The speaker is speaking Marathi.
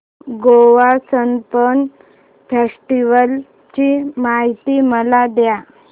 गोवा सनबर्न फेस्टिवल ची माहिती मला दे